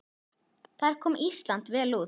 Þar kom Ísland vel út.